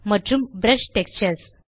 மற்றும் brush textures